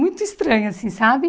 Muito estranho assim, sabe?